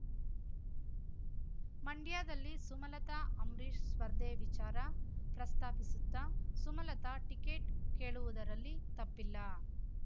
ಮಂಡ್ಯದಲ್ಲಿ ಸುಮಲತಾ ಅಂಬ್ರಿಷ್ ಸ್ಪರ್ಧೆ ವಿಚಾರ ಪ್ರಸ್ತಾಪಿಸುತ್ತ ಸುಮಲತಾ ಟಿಕೆಟ್ ಕೇಳುವುದರಲ್ಲಿ ತಪ್ಪಿಲ್ಲ